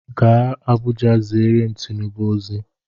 Gaa Abuja ziere m Tinubu ozi!